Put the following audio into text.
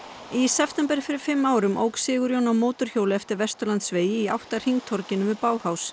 í september fyrir fimm árum ók Sigurjón á mótorhjóli eftir Vesturlandsvegi í átt að hringtorginu við